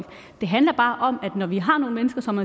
det handler bare om at vi har nogle mennesker som